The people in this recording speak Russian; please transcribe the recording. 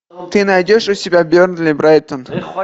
ты найдешь у себя бернли брайтон